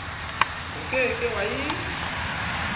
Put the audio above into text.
o ke ke wa e